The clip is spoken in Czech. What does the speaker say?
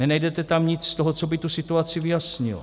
Nenajdete tam nic z toho, co by tu situaci vyjasnilo.